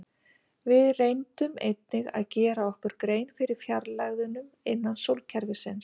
Við reyndum einnig að gera okkur grein fyrir fjarlægðunum innan sólkerfisins.